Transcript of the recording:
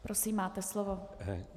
Prosím, máte slovo.